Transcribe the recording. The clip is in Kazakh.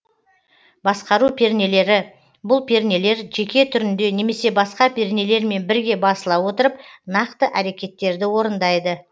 басқару пернелері бұл пернелер жеке түрінде немесе басқа пернелермен бірге басыла отырып нақты әрекеттерді орындайды